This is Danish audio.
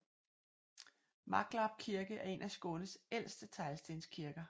Maglarp Kirke er én af Skånes ældste teglstenskirker